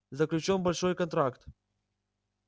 заключён большой контракт